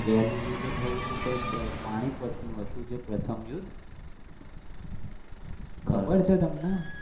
પેલો યુદ્ધ થયું તો કંઈક પાણીપત ન હતું પ્રથમ યુદ્ધ. ખબર છે તમને?